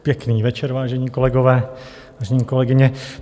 Pěkný večer, vážení kolegové, vážené kolegyně.